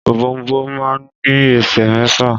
Ọ̀bọ̀ọ̀nbọọ̀n máà ń ní ẹsẹ̀ mẹ́fà.